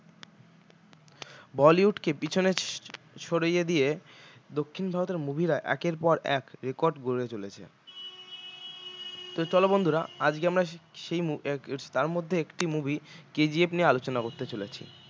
bollywood কে পিছনে সরিয়ে দিয়ে দক্ষিণ ভারতের movie রা একের পর এক record গড়ে চলেছে তো চলো বন্ধুরা আজকে আমরা সেই আহ উম তার মধ্যে একটি movie KGF নিয়ে আলোচনা করতে চলেছি